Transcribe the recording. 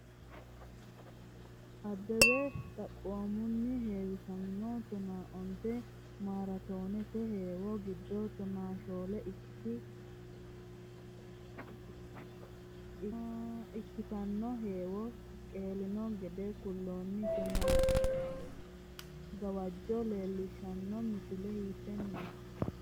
Abbebe xaphoomunni heewisamino tonaa onte maaraatoonete heewo giddo tonaa shoole ikki tanno heewo qeelino gede kullanni, tanno gawajjo leellishshanno misile hiittenneeti?